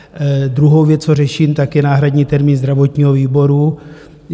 Druhá věc, co řeším, tak je náhradní termín zdravotního výboru.